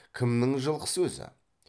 кімнің жылқысы өзі